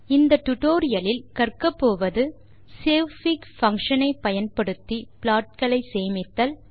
இந்த டுடோரியலின் இறுதியில் உங்களால் வருவனவற்றை செய்ய இயலும் savefig பங்ஷன் ஐ பயன்படுத்தி ப்ளாட் களை சேமித்தல்